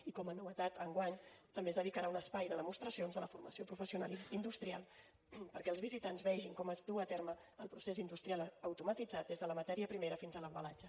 i com a novetat enguany també es dedicarà un espai de demostracions de la formació professional industrial perquè els visitants vegin com es duu a terme el procés industrial automatitzat des de la matèria primera fins a l’embalatge